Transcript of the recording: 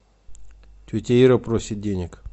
тетя ира просит денег